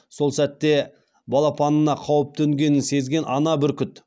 сол сәтте балапанына қауіп төнгенін сезген ана бүркіт